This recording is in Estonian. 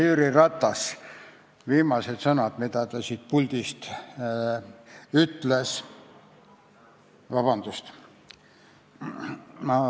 Härra istungi juhataja!